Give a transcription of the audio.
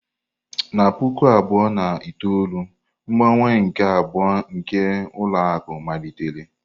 Na puku abụọ na itoolu, mgbanwe nke abụọ nke ụlọ akụ malitere.